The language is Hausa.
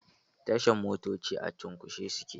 Tashan motoci a cunkushe suke